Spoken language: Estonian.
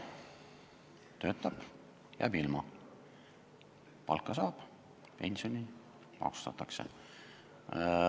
Kui töötab, siis jääb ilma, palka saab, pensioni maksustatakse.